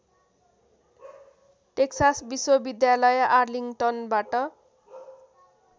Texas विश्वविद्यालय आर्लिङ्गटनबाट